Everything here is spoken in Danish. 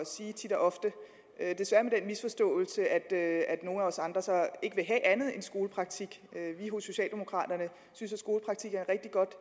sige tit og ofte desværre misforståelse at nogle af os andre så ikke vil have andet end skolepraktik vi hos socialdemokraterne synes at skolepraktik er et rigtig godt